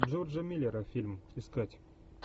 джорджа миллера фильм искать